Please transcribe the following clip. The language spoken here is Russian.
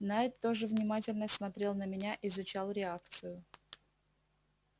найд тоже внимательно смотрел на меня изучал реакцию